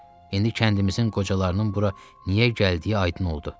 İndi kəndimizin qocalarının bura niyə gəldiyi aydın oldu.